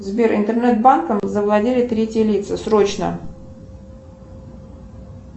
сбер интернет банком завладели третьи лица срочно